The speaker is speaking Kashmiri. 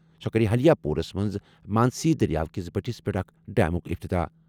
سُہ کَرِ حلیا پوٗرَس منٛز مانسی دٔریاو کِس بٔٹِھس پٮ۪ٹھ اکھ ڈیمُک افتتاح ۔